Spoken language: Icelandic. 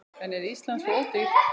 En er Ísland svo ódýrt?